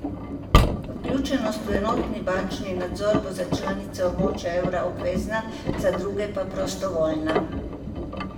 Vključenost v enotni bančni nadzor bo za članice območja evra obvezna, za druge pa prostovoljna.